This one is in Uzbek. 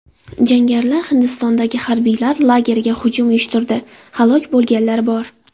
Jangarilar Hindistondagi harbiylar lageriga hujum uyushtirdi, halok bo‘lganlar bor.